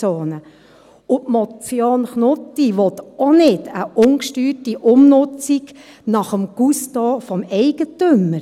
Und die Motion Knutti will auch keine ungesteuerte Umnutzung nach dem Gusto des Eigentümers.